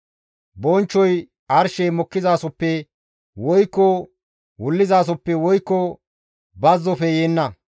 Bonchchoy arshey mokkizasoppe woykko wullizasoppe woykko bazzofe yeenna.